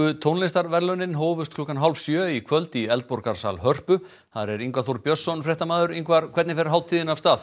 tónlistarverðlaunin hófust klukkan hálf sjö í kvöld í Hörpu þar er Ingvar Þór Björnsson fréttamaður Ingvar hvernig fer hátíðin af stað